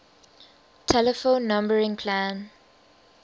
telephone numbering plan